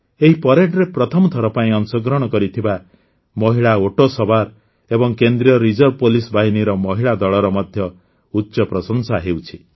ଏହି ପରେଡରେ ପ୍ରଥମ ଥର ପାଇଁ ଅଂଶଗ୍ରହଣ କରିଥିବା ମହିଳା ଓଟ ସବାର୍ ଏବଂ କେନ୍ଦ୍ରୀୟ ରିଜର୍ଭ ପୁଲିସ ବାହିନୀର ମହିଳା ଦଳର ମଧ୍ୟ ଉଚ୍ଚ ପ୍ରଶଂସା ହେଉଛି